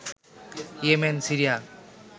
Yemen, Syria